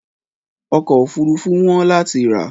ọ̀kọ̀ ofúrufú wọ́n lati rà